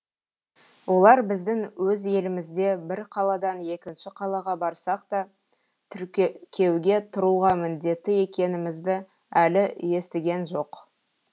олар біздің өз елімізде бірқаладан екінші қалаға барсақ та тіркеуге тұруға міндетті екенімізді әлі естігенжоқ